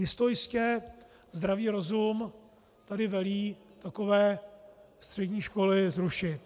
Jistojistě zdravý rozum tady velí takové střední školy zrušit.